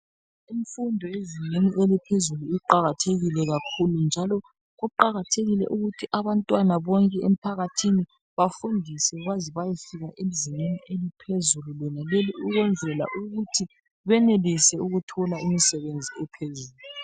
Imfundo yezingeni eliphezulu iqakathekile kakhulu. Njalo kuqakathekile ukuthi abantwana bonke emphakathini bafundiswe baze bayefika ezingeni eliphezulu lonaleli. Ukwenzela ukuthi benelise ukuthola imisebenzi ephezulu.